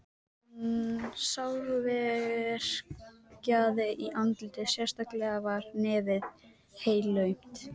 Hann sárverkjaði í andlitið, sérstaklega var nefið helaumt.